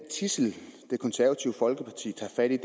tidsel det konservative folkeparti tager fat i